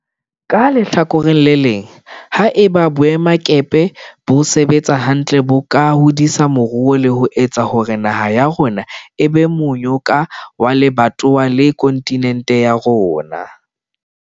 Ka lehlakoreng le leng, ha eba boemakepe bo sebetsa hantle bo ka hodisa moruo le ho etsa hore naha ya rona e be monyako wa lebatowa le kontinente ya rona.